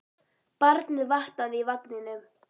Barnið vaknaði í vagninum.